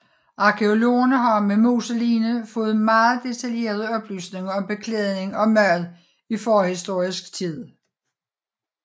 Arkæologerne har med moseligene fået meget detaljerede oplysninger om beklædning og mad i forhistorisk tid